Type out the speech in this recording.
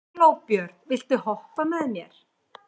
Glóbjört, viltu hoppa með mér?